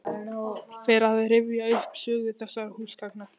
Fer að rifja upp sögu þessara húsgagna.